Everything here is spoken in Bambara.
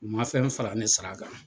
U ma fɛn fara ne sara kan.